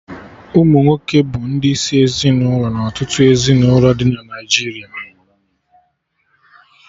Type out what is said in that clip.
Ụmụnwoke bụ ndị isi ezinụlọ na ọtụtụ ezinụlọ dị na Naijiria